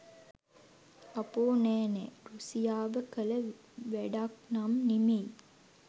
අපෝ නෑ නෑ රුසියාව කළ වැඩක්නම් නෙමෙයි!